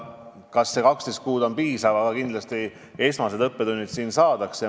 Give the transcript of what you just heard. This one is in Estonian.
Ei tea, kas 12 kuud on piisav aeg, aga kindlasti need esmased õppetunnid saadakse.